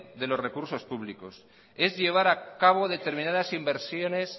de los recursos públicos es llevar a cabo determinadas inversiones